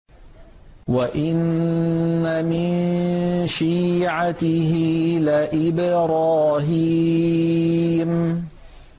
۞ وَإِنَّ مِن شِيعَتِهِ لَإِبْرَاهِيمَ